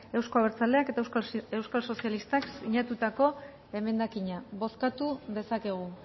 euzko abertzaleak eta euskal sozialistak sinatutako emendakina bozkatu dezakegu